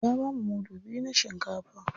Ya bamu mudu biyu na shinkafa.